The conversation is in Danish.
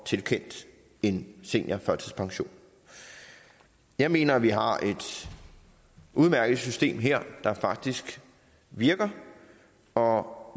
tilkendt en seniorførtidspension jeg mener at vi har et udmærket system her der faktisk virker og